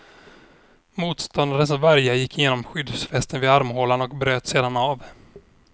Motståndarens värja gick igenom skyddsvästen vid armhålan och bröts sedan av.